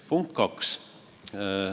Punkt 2.